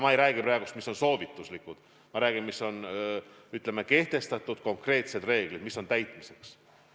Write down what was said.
Ma ei räägi praegu soovituslikest reeglitest, ma räägin konkreetsetest reeglitest, mis on täitmiseks.